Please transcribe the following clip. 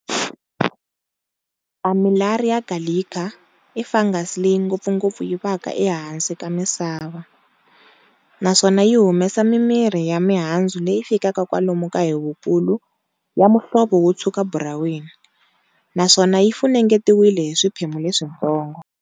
"Armillaria gallica" i fungus leyi ngopfungopfu yivaka ehansi ka misava, naswona yi humesa mimiri ya mihandzu leyi fikaka kwalomu ka hi vukulu, ya muhlovo wotshukaburaweni, naswona yi funengetiwile hi swiphemu leswintsongo.